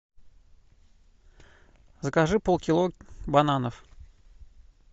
закажи полкило бананов